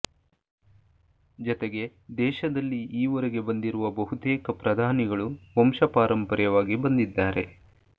ಜತೆಗೆ ದೇಶದಲ್ಲಿ ಈವರೆಗೆ ಬಂದಿರುವ ಬಹುತೇಕ ಪ್ರಧಾನಿಗಳು ವಂಶಪಾರಂಪರ್ಯವಾಗಿ ಬಂದಿದ್ದಾರೆ